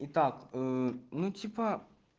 итак ну типа